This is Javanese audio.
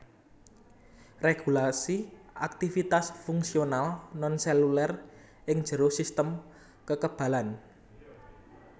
Regulasi aktivitas fungsional non seluler ing jero sistem kekebalan